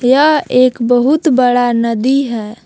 यह एक बहुत बड़ा नदी है।